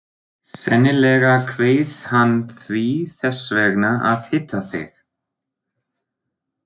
Sennilega kveið hann því þess vegna að hitta þig.